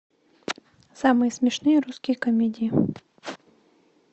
самые смешные русские комедии